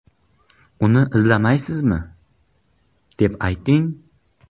Uni izlaymizmi?” deb ayting.